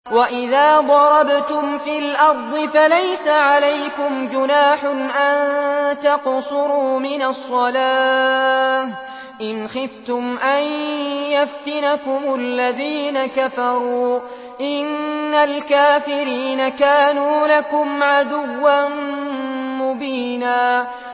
وَإِذَا ضَرَبْتُمْ فِي الْأَرْضِ فَلَيْسَ عَلَيْكُمْ جُنَاحٌ أَن تَقْصُرُوا مِنَ الصَّلَاةِ إِنْ خِفْتُمْ أَن يَفْتِنَكُمُ الَّذِينَ كَفَرُوا ۚ إِنَّ الْكَافِرِينَ كَانُوا لَكُمْ عَدُوًّا مُّبِينًا